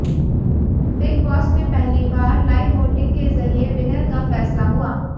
big Boss में पहली बार लाइव वोटिंग के जरिए विनर का फैसला हुआ